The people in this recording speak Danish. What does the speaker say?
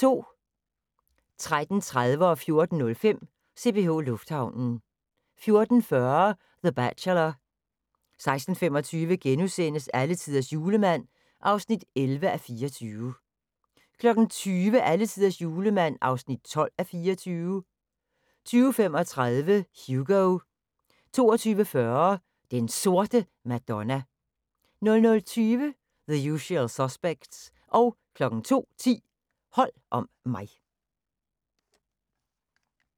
13:30: CPH Lufthavnen 14:05: CPH Lufthavnen 14:40: The Bachelor 16:25: Alletiders Julemand (11:24)* 20:00: Alletiders Julemand (12:24) 20:35: Hugo 22:40: Den Sorte Madonna 00:20: The Usual Suspects 02:10: Hold om mig